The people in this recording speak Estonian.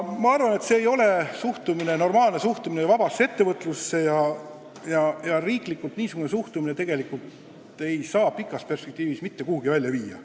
Ma arvan, et see ei ole normaalne suhtumine vabasse ettevõtlusse ja riigi niisugune suhtumine ei saa pikas perspektiivis mitte kuhugi välja viia.